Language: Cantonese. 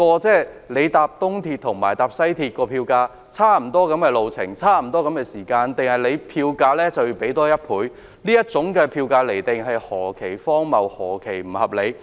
就東鐵綫及西鐵綫的票價，雖然路程和時間相若，車費卻相差1倍，這種釐定票價的方式是何其荒謬和不合理！